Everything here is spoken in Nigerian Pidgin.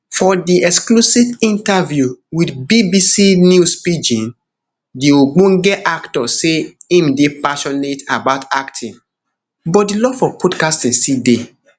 for di exclusive interview wit bbc news pidgin di ogbonge actor say im dey passionate about acting but di love for podcasting still dey